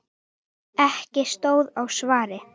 Ekki stóð á svari.